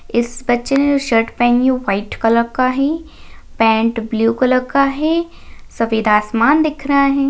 इस बच्छे ने शर्ट पहनी है वो व्हाइट कलर का है पॅन्ट ब्लू कलर का है सफ़ेद आसमान दिख रहा है।